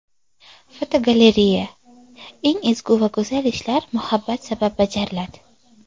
Fotogalereya: Eng ezgu va go‘zal ishlar muhabbat sabab bajariladi.